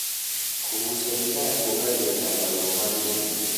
Kugucia thigara kuongagirira maruo ma gĩthũri